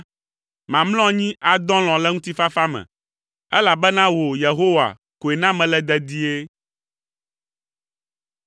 Mamlɔ anyi, adɔ alɔ̃ le ŋutifafa me, elabena wò, Yehowa, koe na mele dedie.